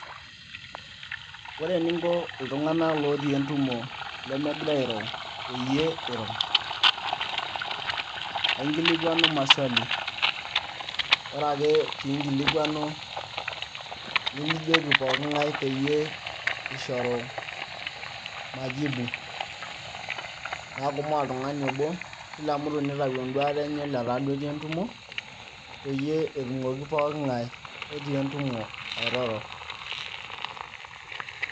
ore eninko iltunng'anak lotii entumo lemegira airo peyie iro ainkilikuanu maswali ore ake piinkilikuanu nijoki poking'ae peyie ishoru majibu neeku mee oltung'ani obo kila mtu nitau enduata enye letaa duo etii entumo peyie etumoki poking'ae otii entumo airoro.